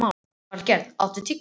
Valgerða, áttu tyggjó?